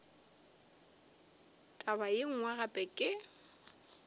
taba ye nngwe gape ke